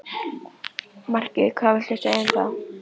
Markið hvað viltu segja um það?